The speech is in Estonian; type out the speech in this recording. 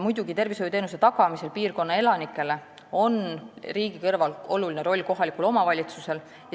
Muidugi on tervishoiuteenuse tagamisel piirkonna elanikele riigi kõrval tähtis roll kohalikul omavalitsusel.